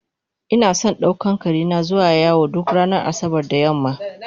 Inason daukan karena zuwa yawo duk ranar asabar da yamma